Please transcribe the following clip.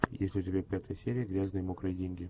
есть ли у тебя пятая серия грязные мокрые деньги